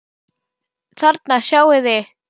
Þarna sjáið þið.